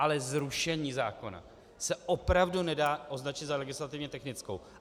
Ale zrušení zákona se opravdu nedá označit za legislativně technickou.